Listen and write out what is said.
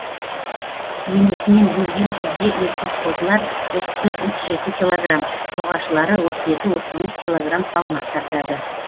енесінен бөлген кезде еркек қозылар отыз төрт отыз жеті килограмм ұрғашылары отыз екі отыз бес килограмм салмақ тартады